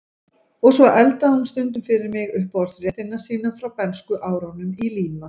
Og svo eldaði hún stundum fyrir mig uppáhaldsréttina sína frá bernskuárunum í Líma